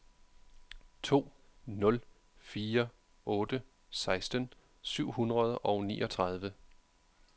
to nul fire otte seksten syv hundrede og niogtredive